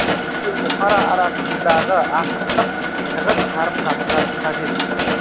билік пен бұқара арасындағы ашықтық тығыз қарым қатынас қажет